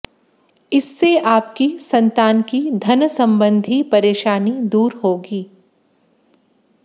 इससे आपकी संतान की धन संबंधी परेशानी दूर होगी